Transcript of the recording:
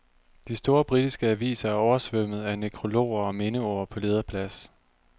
De store britiske aviser er oversvømmet af nekrologer og mindeord på lederplads.